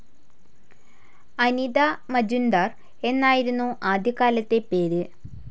അനിത മജുൻഡാർ എന്നായിരുന്നു ആദ്യകാലത്തെ പേര്.